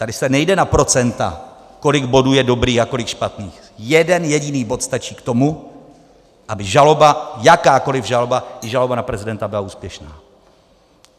Tady se nejde na procenta, kolik bodů je dobrých a kolik špatných, jeden jediný bod stačí k tomu, aby žaloba, jakákoliv žaloba, i žaloba na prezidenta byla úspěšná.